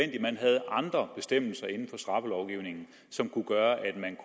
andre bestemmelser inden for straffelovgivningen som kunne gøre at man